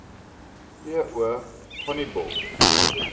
t o honiball